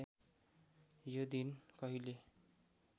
यो दिन कहिले